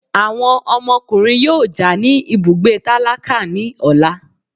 Awọn ọmọkùnrin yóò já ní ibùgbé tálákà ní ọla